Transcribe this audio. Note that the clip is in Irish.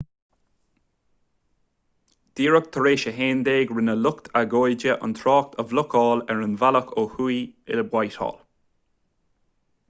díreach tar éis a 11:00 rinne lucht agóide an trácht a bhlocáil ar an bhealach ó thuaidh i whitehall